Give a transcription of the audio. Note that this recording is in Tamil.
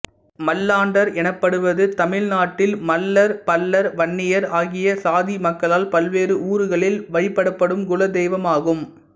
மல்லாண்டார் எனப்படுவது தமிழ்நாட்டில் மள்ளா் பள்ளர்வன்னியர் ஆகிய சாதி மக்களால் பல்வேறு ஊர்களில் வழிபடப்படும் குலதெய்வம் ஆகும்